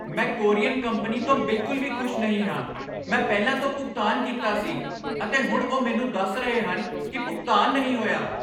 ਮੈਂ courier company ਤੋਂ ਬਿਲਕੁਲ ਵੀ ਖੁਸ਼ ਨਹੀਂ ਹਾਂ। ਮੈਂ ਪਹਿਲਾਂ ਤੋਂ ਭੁਗਤਾਨ ਕੀਤਾ ਸੀ, ਅਤੇ ਹੁਣ ਉਹ ਮੈਨੂੰ ਦੱਸ ਰਹੇ ਹਨ ਕਿ ਭੁਗਤਾਨ ਨਹੀਂ ਹੋਇਆ!